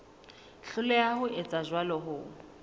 hloleha ho etsa jwalo ho